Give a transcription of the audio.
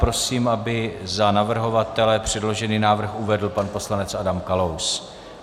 Prosím, aby za navrhovatele předložený návrh uvedl pan poslanec Adam Kalous.